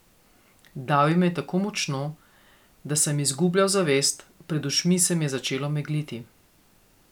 Davil me je tako močno, da sem izgubljal zavest, pred očmi se mi je začelo megliti.